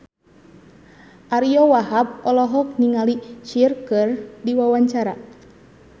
Ariyo Wahab olohok ningali Cher keur diwawancara